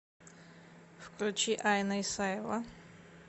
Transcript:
включи айна исаева